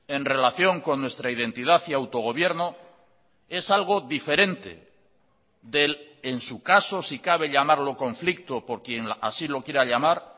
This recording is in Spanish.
en relación con nuestra identidad y autogobierno es algo diferente del en su caso si cabe llamarlo conflicto por quien así lo quiera llamar